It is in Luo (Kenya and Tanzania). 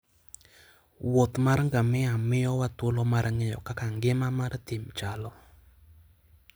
Wuoth mar ngamia miyowa thuolo mar ng'eyo kaka ngima mar thim chalo.